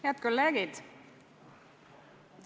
Head kolleegid!